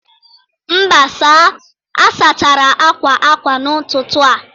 Mba sir, a sachara akwa akwa n'ụtụtụ a